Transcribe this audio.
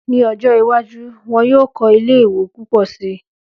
Ní ọjọ́ iwájú, wọn yóò kọ́ ilé ìwé púpọ̀ si